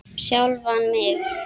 Sjálfan mig?